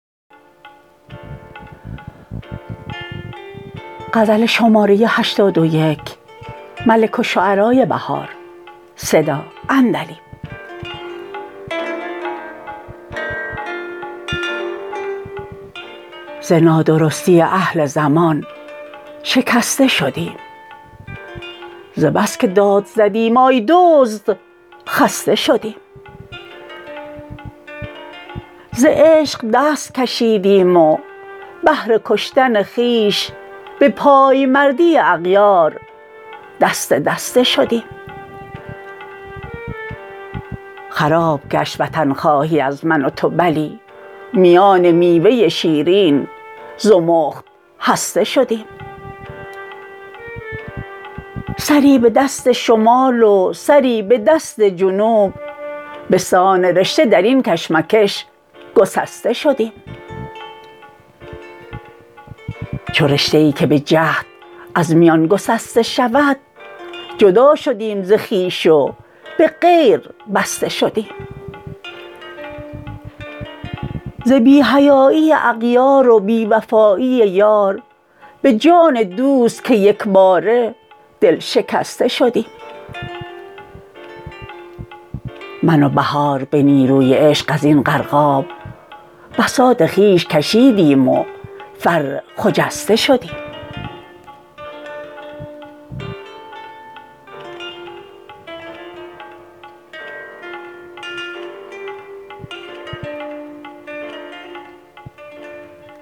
ز نادرستی اهل زمان شکسته شدیم ز بس که داد زدیم آی دزد خسته شدیم ز عشق دست کشیدیم و بهر کشتن خویش به پایمردی اغیار دسته دسته شدیم خراب گشت وطنخواهی از من و تو بلی میان میوه شیرین زمخت هسته شدیم سری به دست شمال و سری به دست جنوب بسان رشته در این کشمکش گسسته شدیم چو رشته ای که به جهد از میان گسسته شود جدا شدیم ز خویش و به غیر بسته شدیم ز بی حیایی اغیار و بی وفایی یار به جان دوست که یکباره دل شکسته شدیم من و بهار به نیروی عشق ازین غرقاب بساط خویش کشیدیم و فر خجسته شدیم